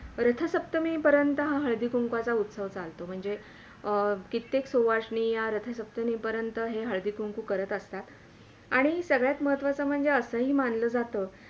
रथसप्तमी पर्यन्त हा हळदी कुंकूवाचा हा उस्तव चालतो म्हणजे अं कित्तेक सुवासिनी हा रथसप्तमी पर्यन्त हा हळदी कुंकू करत असतात आणि सगळ्यात महत्वाचा म्हणजे असंही ही माणलं जातं